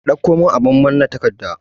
Ka ɗauko min abun manna takarda